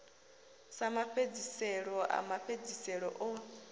sa mafhedziselo a mafhedziselo o